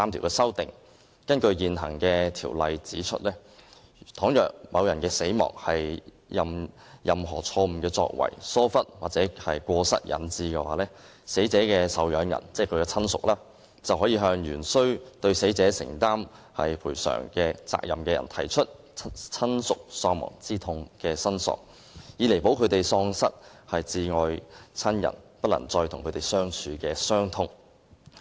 根據現行條例，倘若某人死亡是由於錯誤作為、疏忽或過失引致，死者的受養人便可向原須對死者承擔賠償責任的人提出親屬喪亡之痛的申索，以彌補他們喪失摯愛親人不能再與他們相處的傷痛。